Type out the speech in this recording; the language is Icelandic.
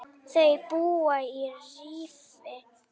Þau búa í Rifi.